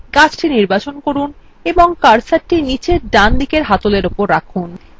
গাছটি নির্বাচন করুন এবং কার্সারটি নীচে ডান দিকের handle উপর রাখুন